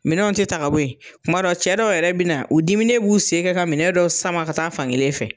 Minɛnw te ta ka bɔ ye, tumadɔ cɛ dɔw yɛrɛ bi na, u diminen b'u sen kɛ ka minɛ dɔw sama ka taa fan kelen fɛ.